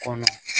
Kɔnɔ